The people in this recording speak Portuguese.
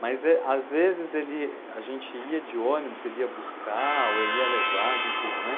Mas às vezes ele, a gente ia de ônibus, ele ia buscar ou ele ia levar, né.